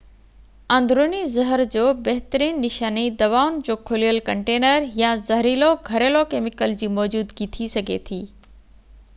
اندروني زهر جو بهترين نشاني دوائن جو کليل ڪنٽينر يا زهريلو گهريلو ڪيميڪل جي موجودگي ٿي سگهي ٿي